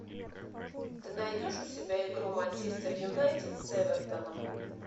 ты найдешь у себя игру манчестер юнайтед с эвертоном